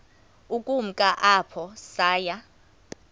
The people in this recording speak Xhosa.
ukumka apho saya